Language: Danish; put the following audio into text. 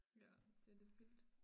Ja det lidt vildt